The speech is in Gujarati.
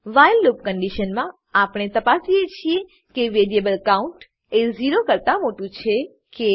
વ્હાઈલ લૂપ કન્ડીશન મા આપણે તપાસીએ છીએ કે વેરીએબલ કાઉન્ટ એ ઝીરો કરતા મોટું છે કે